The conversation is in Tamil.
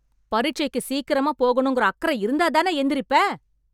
பரிட்சைக்கு சீக்கிரமா போகணும்கிற அக்கற இருந்தாதான எந்திரிப்ப.